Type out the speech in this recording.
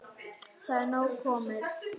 Það er nóg komið.